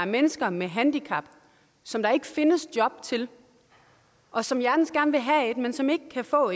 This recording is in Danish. mennesker med handicap som der ikke findes job til og som hjertens gerne vil have et men som ikke kan få